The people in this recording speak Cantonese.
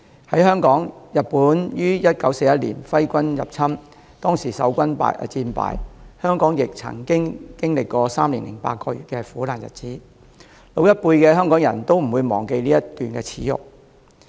在香港，日本於1941年揮軍入侵，當時守軍戰敗，香港亦曾經歷3年8個月的苦難日子，老一輩的香港人都不會忘記這一段耻辱。